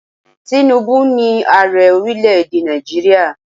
Tínúbú ni Ààrẹ orílẹ̀ èdè Nàìjíríà.